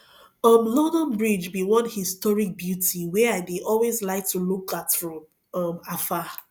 um london bridge be one historic beauty wey i dey always like to look at from um afar